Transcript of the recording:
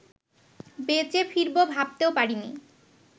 বেঁচে ফিরবো ভাবতেও পারিনি